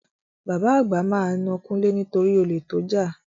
Bàbá àgbà máa na Kúnlé nitori olè tó jà.